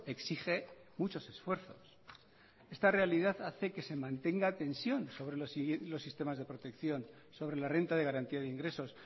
exige muchos esfuerzos esta realidad hace que se mantenga tensión sobre los sistemas de protección sobre la renta de garantía de ingresos